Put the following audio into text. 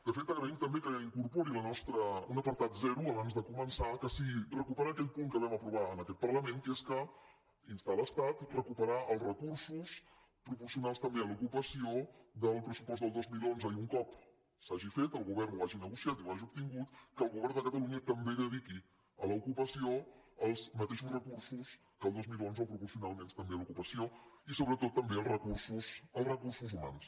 de fet agraïm també que incorpori un apartat zero abans de començar que sigui recuperar aquell punt que vam aprovar en aquest parlament que és instar l’estat a recuperar els recursos proporcionals també a l’ocupació del pressupost del dos mil onze i un cop s’hagi fet el govern ho hagi negociat i ho hagi obtingut que el govern de catalunya també dediqui a l’ocupació els mateixos recursos que el dos mil onze o proporcionalment també a l’ocupació i sobretot també als recursos humans